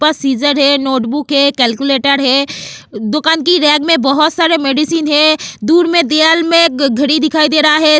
पसीजर है नोटबुक है कैलकुलेटर है दुकान के रॅक में बहुत सारी मेडिसिन है दूर में घड़ी दिखाई दे रहा है।